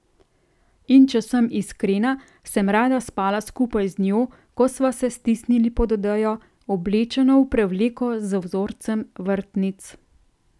In če sem iskrena, sem rada spala skupaj z njo, ko sva se stisnili pod odejo, oblečeno v prevleko z vzorcem vrtnic.